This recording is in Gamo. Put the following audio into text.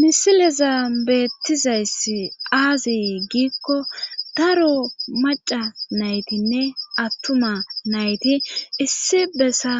misileza beettizayssi aaze giikko daro maca naytinne attuma nayti issi bessa